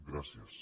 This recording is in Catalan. gràcies